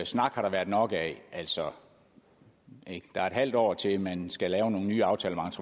snak har der været nok af altså der er et halvt år til man skal lave nogle nye aftaler